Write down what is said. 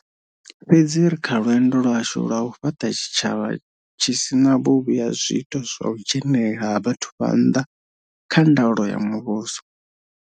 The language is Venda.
Fhedzi ri kha lwendo lwashu lwa u fhaṱa tshitshavha tshi si na vhuvhi ha zwiito zwa u dzhenelela ha vhathu vha nnḓa kha nda ulo ya muvhuso.